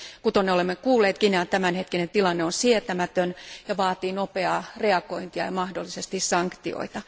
Kuten olemme kuulleet, Guinean tämänhetkinen tilanne on sietämätön ja vaatii nopeaa reagointia ja mahdollisesti sanktioita.